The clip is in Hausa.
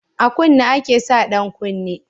A kunne ake sa ɗan kunne